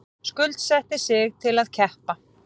Skuldsetti sig til að keppa